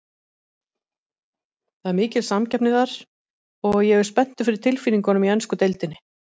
Það er mikil samkeppni þar, og ég er spenntur fyrir tilfinningunum í ensku deildinni.